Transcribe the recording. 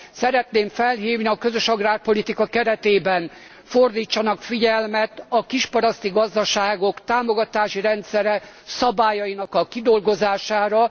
Szeretném felhívni a közös agrárpolitika keretében fordítsanak figyelmet a kisparaszti gazdaságok támogatási rendszere szabályaink a kidolgozására.